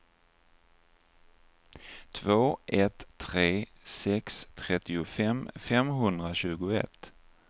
två ett tre sex trettiofem femhundratjugoett